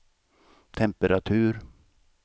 temperatur